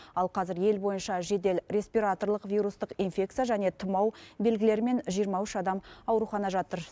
ал қазір ел бойынша жедел респираторлық вирустық инфекция және тұмау белгілерімен жиырма үш адам аурухана жатыр